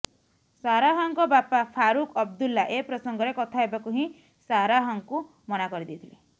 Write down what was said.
ସାରାହଙ୍କ ବାପା ଫାରୁଖ ଅବଦୁଲ୍ଲା ଏ ପ୍ରସଙ୍ଗରେ କଥା ହେବାକୁ ହିଁ ସାରାହଙ୍କୁ ମନା କରିଦେଇଥିଲେ